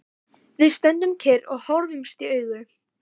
Við stöndum kyrrir og horfumst í augu.